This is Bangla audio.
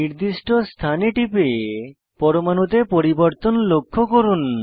নির্দিষ্ট স্থানে টিপে পরমাণুতে পরিবর্তন লক্ষ্য করুন